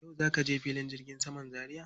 Yau za ka je filin jirgin saman Zaria?